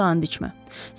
Yaxşısa bunu and içmə.